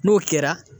N'o kɛra